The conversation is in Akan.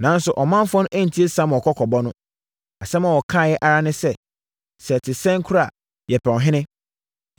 Nanso, ɔmanfoɔ no antie Samuel kɔkɔbɔ no. Asɛm a wɔkaeɛ ara ne sɛ, “Sɛ ɛte sɛn koraa a, yɛpɛ ɔhene.